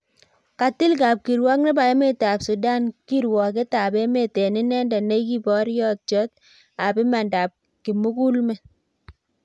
Katil kapkirwok nebo emet ab Sudan kirwoket ab meet eng inendet ne kiporyotiot ab imandab kimugulmet